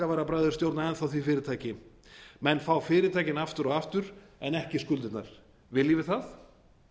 bakkavararbræður stjórna enn þá því fyrirtæki menn fá fyrirtækin aftur og aftur en ekki skuldirnar viljum við það